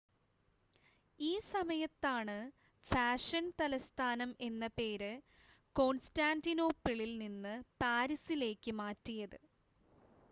ഈ സമയത്താണ് ഫാഷൻ തലസ്ഥാനം എന്ന പേര് കോൺസ്റ്റാൻ്റിനോപ്പിളിൽ നിന്ന് പാരീസിലേക്ക് മാറ്റിയത്